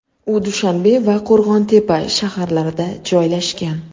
U Dushanbe va Qo‘rg‘on-Tepa shaharlarida joylashgan.